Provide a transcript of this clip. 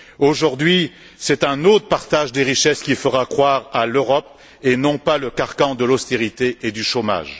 Aujourd'hui, c'est un autre partage des richesses qui fera croire à l'Europe et non pas le carcan de l'austérité et du chômage.